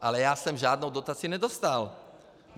Ale já jsem žádnou dotaci nedostal.